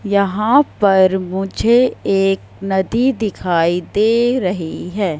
यहां पर मुझे एक नदी दिखाई दे रही है।